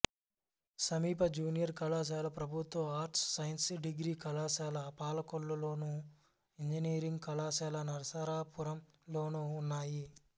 సమీప జూనియర్ కళాశాల ప్రభుత్వ ఆర్ట్స్ సైన్స్ డిగ్రీ కళాశాల పాలకొల్లు లోను ఇంజనీరింగ్ కళాశాల నరసాపురం లోనూ ఉన్నాయి